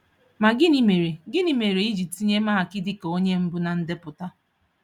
Ma gịnị mere gịnị mere I ji tinye Mark dịka onye mbụ na ndepụta?